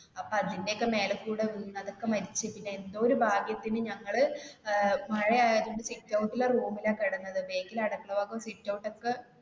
അപ്പൊ അതിന്റെ ഏക്ക മേലെകൂടെ വീണു അതൊക്കെ മരിച്ചു പിന്നെ എന്തോ ഒരു ഭാഗ്യത്തിന് ഞങ്ങള് അഹ് മഴ ആയതുകൊണ്ട് sitout ലെ room ൽ ആ കിടന്നത് back ല് അടുക്കളഭാകം sitout ഏക്ക